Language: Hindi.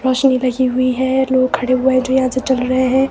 रोशनी लगी हुई है। लोग खड़े हुए हैं जो यहां से चल रहे हैं।